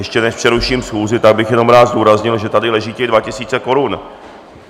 Ještě než přeruším schůzi, tak bych jenom rád důraznil, že tady leží těch dva tisíce korun.